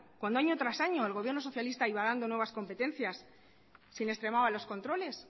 cuando año tras año el gobierno socialista iba dando nuevas competencias si no extremaba los controles